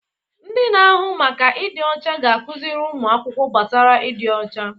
Ndị na-ahụ maka ịdị ọcha ga-akụziri ụmụ akwụkwọ gbasara ịdị ọcha.